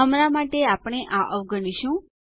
હમણાં માટે આપણે આ અવગણશું